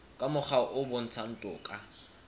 ka mokgwa o bontshang toka